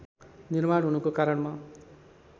निर्माण हुनुको कारणमा